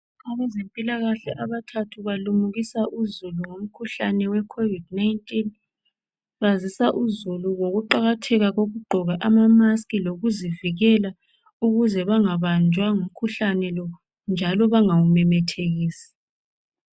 Abezempilakahle abathathu balimukisa uzulu ngomkhuhlane we COVID19 bazisa uzulu ngokuqakatheka kokugqoka ama mask lokuzivikela ukuze bangabanjwa ngumkhuhlane lo njalo bangawumemethekisi .